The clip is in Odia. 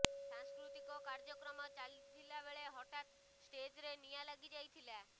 ସାଂସ୍କୃତିକ କାର୍ଯ୍ୟକ୍ରମ ଚାଲିଥିବା ବେଳେ ହଠାତ୍ ଷ୍ଟେଜ୍ରେ ନିଆଁ ଲାଗିଯାଇଥିଲା